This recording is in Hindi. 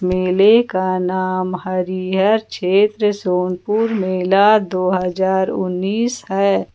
मेले का नाम हरिहर क्षेत्र सोनपुर मेला दो हजार उन्नीस है।